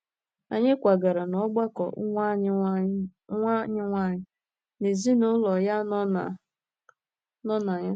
Anyị kwagara n’ọgbakọ nwa anyị nwanyị na ezinụlọ ya nọ na nọ na ya.